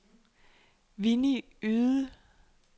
Winnie Yde